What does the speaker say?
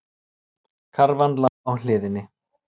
Karfan lá á hliðinni.